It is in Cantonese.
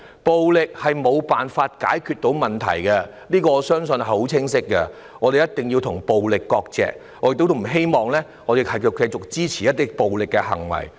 暴力無法解決問題，我相信這是十分清晰的，我們一定要與暴力割席，我不希望我們的同事會繼續支持暴力行為。